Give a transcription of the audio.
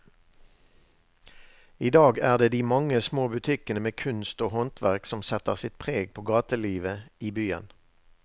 I dag er det de mange små butikkene med kunst og håndverk som setter sitt preg på gatelivet i byen.